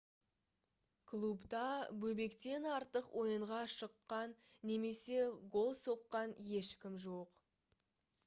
клубта бобектен артық ойынға шыққа немесе гол соққан ешкім жоқ